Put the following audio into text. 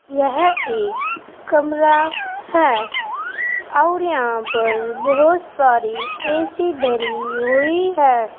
यह एक कमरा है और यहां पर बहुत सारी ऐ सी धरी हुई है।